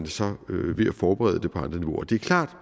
så ved at forberede det på andre niveauer det er klart